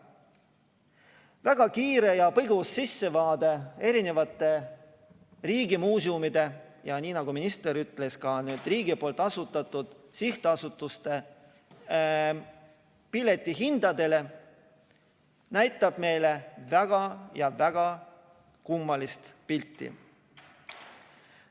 Väga kiire ja põgus sissevaade riigimuuseumide ja, nii nagu minister ütles, ka riigi asutatud sihtasutuste piletihindadele näitab meile väga kummalist pilti.